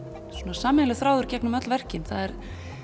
sameiginlegur þráður í gegnum öll verkin það er